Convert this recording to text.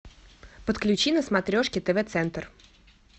подключи на смотрешке тв центр